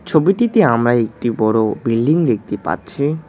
ছবিটিতে আমরা একটি বড় বিল্ডিং দেখতে পাচ্ছি।